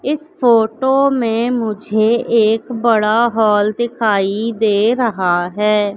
इस फोटो में मुझे एक बड़ा हॉल दिखाई दे रहा है।